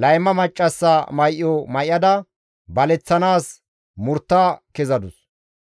layma maccassa may7o may7ada baleththanaas murtta kezadus.